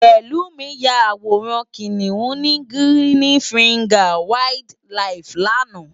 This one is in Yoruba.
Pelumi yá àwórán Kiniún ni Girini Fingás Wàáild Làíf làná